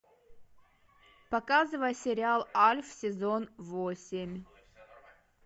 показывай сериал альф сезон восемь